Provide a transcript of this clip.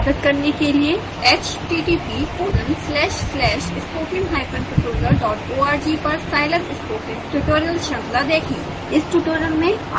scilab संस्थापित करने के लिए